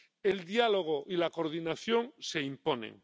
El diálogo y la coordinación se imponen.